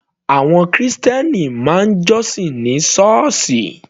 Àwọn krìstẹ́nì máa ń jọ́sìn ní sọ́ọ̀sì.